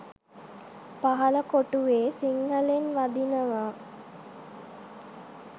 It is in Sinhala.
පහල කොටුවෙ සිංහලෙන් වදිනව